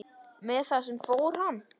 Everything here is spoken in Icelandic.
Með það fór hann.